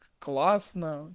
классно